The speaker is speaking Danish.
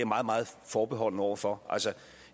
meget meget forbeholden over for altså